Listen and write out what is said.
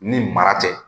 Ni mara tɛ